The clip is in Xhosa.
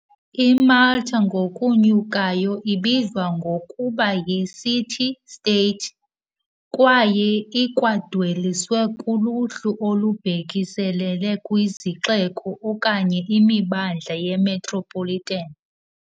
I-Malta ngokunyukayo ibizwa ngokuba yi- city-state, kwaye ikwadweliswe kuluhlu olubhekiselele kwizixeko okanye imimandla yemetropolitan.